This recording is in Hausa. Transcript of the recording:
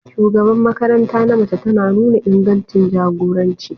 shugaban makaranta na mace tana nuna ingancin jagoranci.